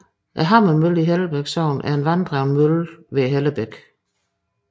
Hammermøllen i Hellebæk Sogn er en vanddrevet mølle ved Hellebækken